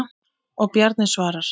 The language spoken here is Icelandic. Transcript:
Og Bjarni svarar.